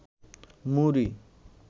মুড়ি